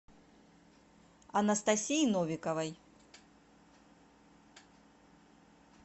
анастасии новиковой